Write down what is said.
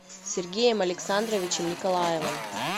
сергеем александровичем николаевым